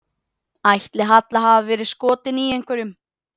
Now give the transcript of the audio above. Ætli Halla hafi verið skotin í einhverjum?